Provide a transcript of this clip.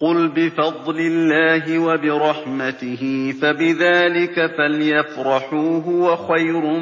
قُلْ بِفَضْلِ اللَّهِ وَبِرَحْمَتِهِ فَبِذَٰلِكَ فَلْيَفْرَحُوا هُوَ خَيْرٌ